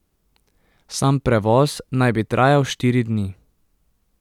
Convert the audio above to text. Sam prevoz naj bi trajal štiri dni.